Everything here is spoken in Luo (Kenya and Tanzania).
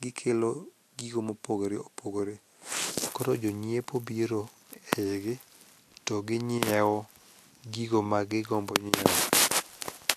gikelo gigo mopogore opogore, koro jonyiepo biro e igi to ginyieo gigo magigombo nyieo.